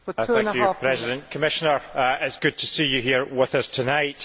Madam President, Commissioner, it is good to see you here with us to tonight.